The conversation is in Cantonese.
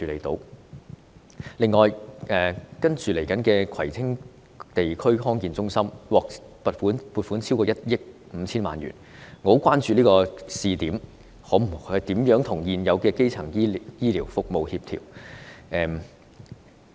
此外，即將投入服務的葵青地區康健中心獲撥款超過1億 5,000 萬元，我很關注這項試點服務如何與現有基層醫療服務相協調。